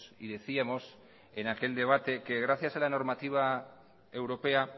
y decíamos en aquel debate que gracias a la normativa europea